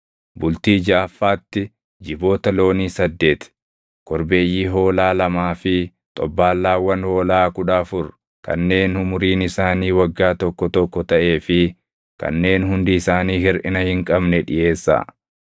“ ‘Bultii jaʼaffaatti jiboota loonii saddeeti, korbeeyyii hoolaa lamaa fi xobbaallaawwan hoolaa kudha afur kanneen umuriin isaanii waggaa tokko tokko taʼee fi kanneen hundi isaanii hirʼina hin qabne dhiʼeessaa.